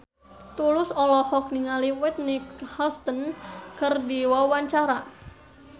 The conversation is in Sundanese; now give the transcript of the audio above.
Tulus olohok ningali Whitney Houston keur diwawancara